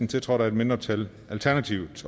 tiltrådt af et mindretal